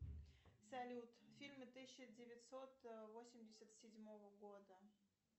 салют фильмы тысяча девятьсот восемьдесят седьмого года